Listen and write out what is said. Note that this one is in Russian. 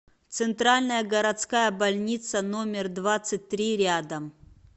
центральная городская больница номер двадцать три рядом